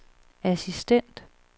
assistent